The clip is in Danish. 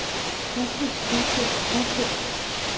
huske huske huske